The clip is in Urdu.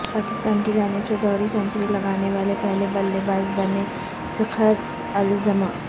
پاکستان کی جانب سے دوہری سینچری لگانے والے پہلے بلے باز بنے فخر الزماں